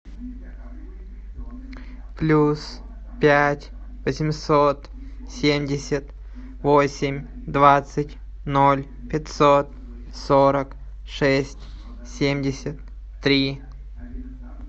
плюс пять восемьсот семьдесят восемь двадцать ноль пятьсот сорок шесть семьдесят три